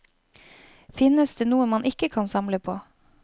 Finnes det noe man ikke kan samle på?